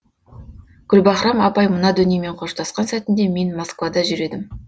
гүлбаһрам апай мына дүниемен қоштасқан сәтінде мен москвада жүр едім